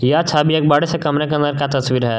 यह छवि एक बड़े से कमरे के अंदर का तस्वीर है।